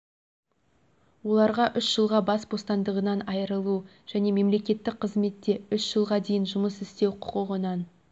оларға үш жылға бас бостандығынан айырылу және мемлекеттік қызметте үш жылға дейін жұмыс істеу құқығынан